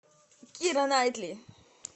кира найтли